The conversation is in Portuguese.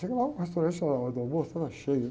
Chega lá o restaurante, estava na hora do almoço, estava cheio.